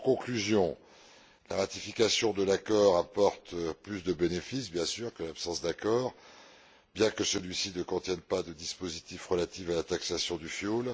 En conclusion, la ratification de l'accord apporte évidemment plus de bénéfices que l'absence d'accord bien que celui ci ne contienne pas de dispositif relatif à la taxation du fioul.